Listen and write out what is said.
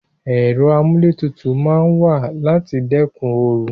Ero amuletutu maa n wa lati dekun oru